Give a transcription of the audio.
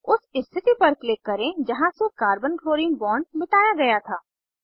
उस स्थिति पर क्लिक करें जहाँ से कार्बन क्लोरीन बॉन्ड मिटाया गया था